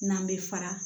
N'an bɛ fara